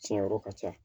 Tiɲan yɔrɔ ka ca